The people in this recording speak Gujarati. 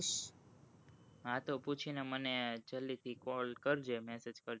હા તો પૂછી ને મને જલ્દી થી call કરજે message કરજે